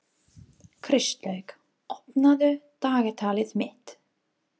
Kristlaug, opnaðu dagatalið mitt.